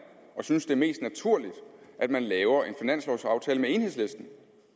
og synes det er mest naturligt at man laver en finanslovaftale med enhedslisten